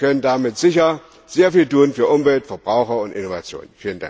Wir können damit sicher sehr viel tun für Umwelt, Verbraucher und Innovationen.